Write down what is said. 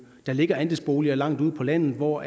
der ligger andelsboliger langt ude på landet hvor